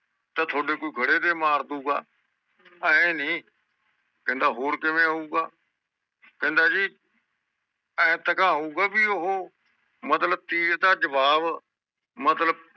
ਤੇ ਥੁੜੇ ਕੋਈ ਖੜ੍ਹੇ ਦੜੇ ਮਾਰ ਦੁਗਾ ਏ ਨੀ ਕਹਿੰਦਾ ਹੋਰ ਕਿਵੇਂ ਹੋਉਗਾ ਕਹਿੰਦਾ ਜੀ ਐਂਤਕਾ ਹੋਊਗਾ ਬੀ ਓਹੋ ਮਤਲਬ ਤੀਰ ਦਾ ਜਵਾਬ ਮਤਲਬ